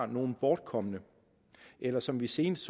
nogle bortkomne eller som vi senest